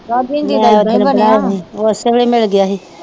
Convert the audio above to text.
ਓਸੇ ਵੇਲੇ ਮਿਲ ਗਿਆ ਹੀ।